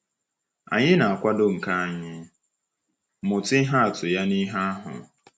Anyị na-akwado ka anyị mụta ihe atụ ya n’ihe ahụ.